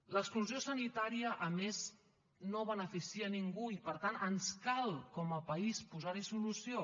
l’exclusió sanitària a més no beneficia a ningú i per tant ens cal com a país posar hi solució